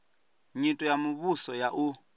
nyito ya muvhuso ya u